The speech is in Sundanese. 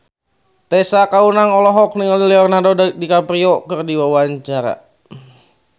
Tessa Kaunang olohok ningali Leonardo DiCaprio keur diwawancara